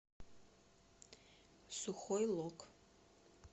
сухой лог